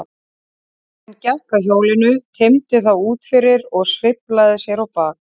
Maðurinn gekk að hjólinu, teymdi það út fyrir og sveiflaði sér á bak.